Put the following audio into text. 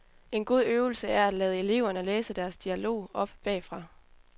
En god øvelse er at lade eleverne læse deres dialog op bagfra.